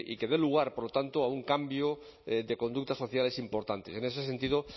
que dé lugar por lo tanto a un cambio de conductas sociales importantes en ese sentido